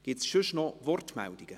Gibt es sonstige Wortmeldungen?